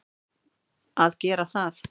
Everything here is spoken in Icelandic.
að gera það.